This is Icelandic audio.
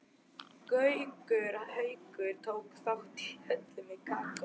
Gaukur tók þátt í öllu með Kókó.